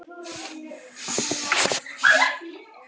Lögðu hald á falsaðar vörur